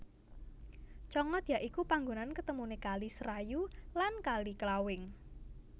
Congot ya iku panggonan ketemuné Kali Serayu lan Kali Klawing